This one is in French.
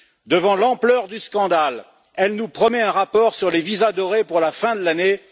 Devant l'ampleur du scandale, elle nous promet un rapport sur les visas dorés pour la fin de l'année.